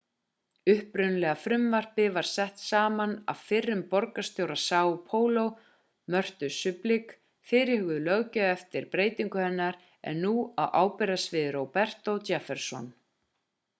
upprunalega frumvarpið var sett saman af fyrrum borgarstjóra são paulo mörtu suplicy. fyrirhuguð löggjöf eftir breytingu hennar er nú á ábyrgðarsviði roberto jefferson